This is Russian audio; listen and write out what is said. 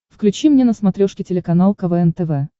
включи мне на смотрешке телеканал квн тв